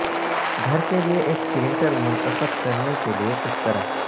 گھر کے لئے ایک پرنٹر منتخب کرنے کے لئے کس طرح